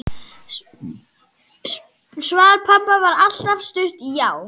Svar pabba var stutt: Já!